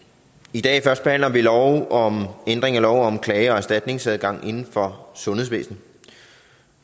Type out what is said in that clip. i dag førstebehandler vi lov om ændring af lov om klage og erstatningsadgang inden for sundhedsvæsenet